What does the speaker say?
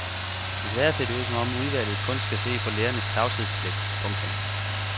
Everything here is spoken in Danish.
Desværre ser det ud som om udvalget kun skal se på lægernes tavshedspligt. punktum